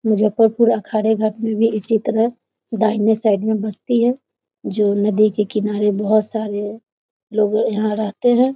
मुजफ्फरपुर अखाड़े घाट में भी इसी तरह दाहिने साइड में बस्ती है जो नदी के किनारे बहुत सारे लोग यहां रहते हैं।